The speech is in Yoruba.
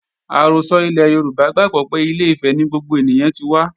Àrọ́sọ ilẹ̀ Yorùbá gbàgbó pé Ilé-Ifẹ̀ ni gbogbo ènìyàn tí wá